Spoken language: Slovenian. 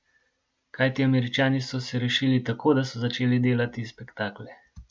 Kajti Američani so se rešili tako, da so začeli delati spektakle.